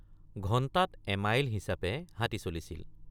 ঘণ্টাত এমাইল হিচাপে হাতী চলিছিল।